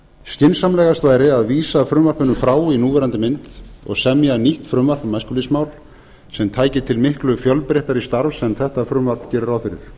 skynsamlegast væri að vísa frumvarpinu frá í núverandi mynd og semja nýtt frumvarp um æskulýðsmál sem tæki til miklu fjölbreyttara starfs en þetta frumvarp gerir ráð fyrir